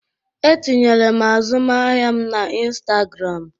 E tinyere m azụmahịa m na Instagram.